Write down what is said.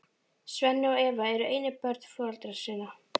Svenni og Eva eru einu börn foreldra sinna.